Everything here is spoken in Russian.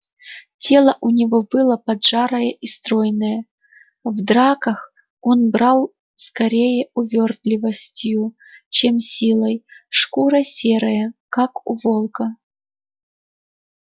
тело у него было поджарое и стройное в драках он брал скорее увёртливостью чем силой шкура серая как у волка